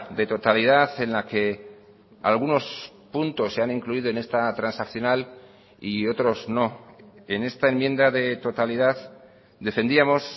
de totalidad en la que algunos puntos se han incluido en esta transaccional y otros no en esta enmienda de totalidad defendíamos